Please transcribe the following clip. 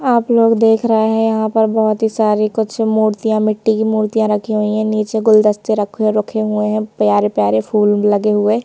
आप लोग देख रहे हैंयहाँ पर बहुत ही सारी कुछ मूर्तियां मिट्टी की मूर्तियां रखी हुई हैं नीचे गुलदस्ते रखे रखे हुए हैं प्यारे-प्यारे फूल लगे हुए हैं।